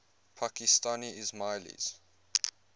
pakistani ismailis